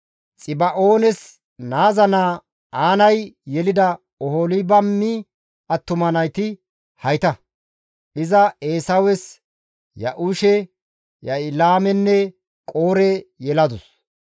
Xiba7oones naaza naa Aanay yelida Oholibaami attuma nayti hayta; iza Eesawes Ya7uushe, Ya7ilaamenne Qoore yeladus.